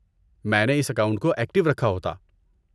میں نے اس اکاؤنٹ کو ایکٹو رکھا ہوتا۔